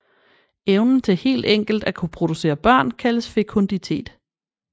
Evnen til helt enkelt at kunne producere børn kaldes fekunditet